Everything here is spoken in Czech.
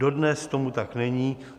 Dodnes tomu tak není.